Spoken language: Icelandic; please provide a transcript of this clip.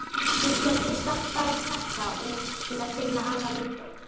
Hún sendir stálpaðan krakka út til að finna afa Lídó.